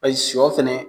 A sɔ fɛnɛ